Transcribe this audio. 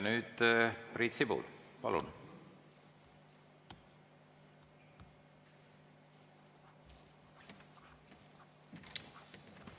Nüüd Priit Sibul, palun!